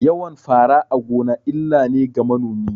Yawan fara a gona illa ne ga manomi